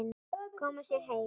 Koma sér heim.